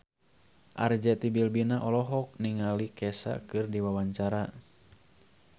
Arzetti Bilbina olohok ningali Kesha keur diwawancara